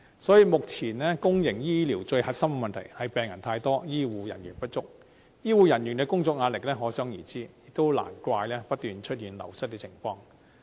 所以，目前公營醫療最核心的問題是病人太多，醫護人員不足，醫護人員的工作壓力可想而知，亦難怪不斷出現流失情況。